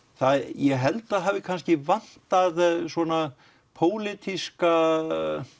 ég held að það hafi kannski vantað svona pólitískan